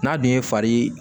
N'a dun ye fari